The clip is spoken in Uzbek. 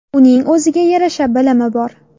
Uning o‘ziga yarasha bilimi bor.